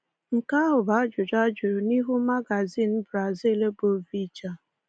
Nke ahụ bụ ajụjụ a jụrụ n’ihu magazin Brazil bụ Veja.